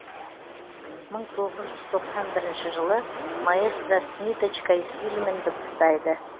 мың тоғыз жүз тоқсан бірінші жылы маэстро с ниточкой фильмін дыбыстайды